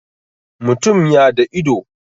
mutum ya da ido